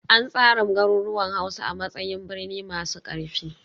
An tsara garuruwan Hausa a matsayin birni masu ƙarfi